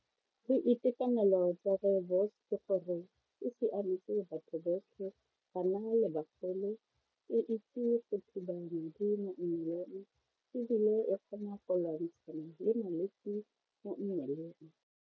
Boitekanelo tsa rooibos ke gore e siametse batho botlhe bana le bogole e itse go mo mmeleng ebile e kgona go lwantshana le malwetsi mo mmeleng.